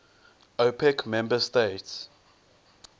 opec member states